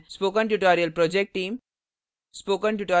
spoken tutorial project team